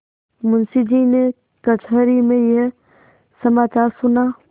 मुंशीजी ने कचहरी में यह समाचार सुना